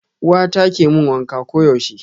Uwata ke mun wanka koyaushe.